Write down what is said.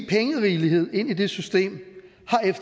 pengerigelighed ind i det system